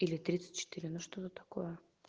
или тридцать четыре ну что-то такое